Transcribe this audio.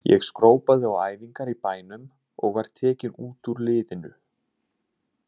Ég skrópaði á æfingar í bænum og var tekinn út úr liðinu.